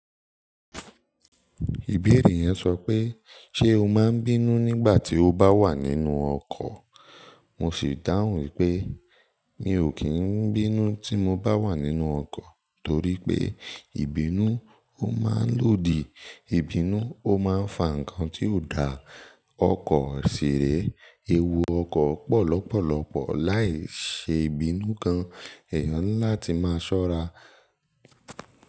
Ìbẹ̀rẹ̀ yẹn sọ pé "Ṣé o máa ń bínú nígbà tí o bá wà nínú ọkọ̀?" Mo sì dáhùn wípé mi ò kí ń bínú tí mo bá wà nínú ọkọ̀, torí pé ìbínú ó máa ń lòdì, ìbínú ó máa ń fa nǹkan tí ò dá. Ọkọ̀ ṣì re, ewu ọkọ̀ pọ̀ lọ́pọ̀lọpọ̀ láìṣe bínú gan. Ẹ̀yàn ńilá ti máa ṣọ́ra.